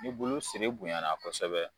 Ni bulu siri bonyana kosɛbɛ.